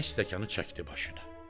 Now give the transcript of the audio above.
Bəy stəkanı çəkdi başına.